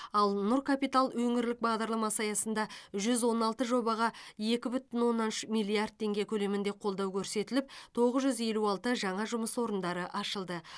ал нұр капитал өңірлік бағдарламасы аясында жүз он алты жобаға екі бүтін оннан үш миллиард теңге көлемінде қолдау көрсетіліп тоғыз жүз елу алты жаңа жұмыс орындары ашылды